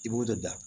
I b'o de da